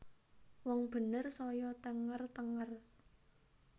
Wong bener saya thenger thenger